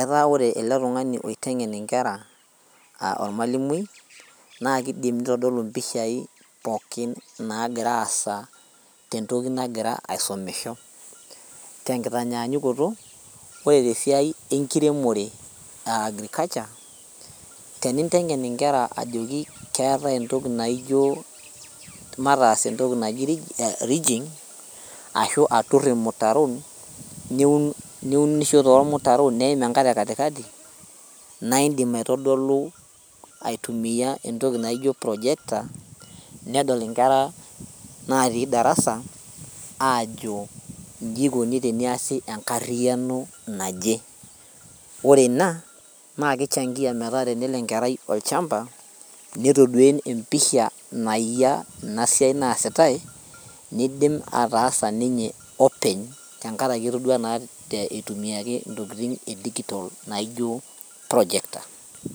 etaa wore ele tung'ani oiteng'en inkera aa ormalimui naa kidim nitodolu impishai pookin nagira aasa tentoki nagira aisomisho tenkitanyanyukoto ore tesiai enkiremore aa agriculture teninteng'en inkera ajoki keetae entoki naijio mataas entoki naji ridging ashu aturr irmutaron niun niunisho tormutaron neim enkare katikati naindim aitodolu aitumiyia entoki naijo projector nedol inkera natii darasa aajo inji ikoni teneyasi enkarriyiano naje ore ina naa kichangia metaa tenelo enkerai olchamba netodua empisha nayia ina siai naasitae nidim ataasa ninye openy tenkaraki etodua naa itumiaki intokitin e digital naijo projector.